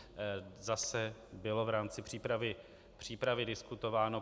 Zase bylo v rámci přípravy diskutováno.